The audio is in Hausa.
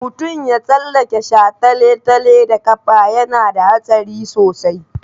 Mutum ya tsallake shataletale da ƙafa yana da haɗari sosai.